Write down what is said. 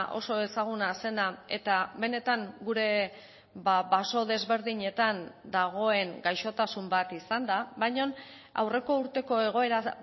oso ezaguna zena eta benetan gure baso desberdinetan dagoen gaixotasun bat izan da baina aurreko urteko egoera